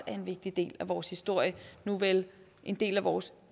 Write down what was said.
er en vigtig del af vores historie nuvel en del af vores